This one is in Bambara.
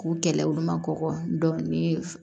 K'u kɛlɛ olu ma kɔkɔ dɔnkili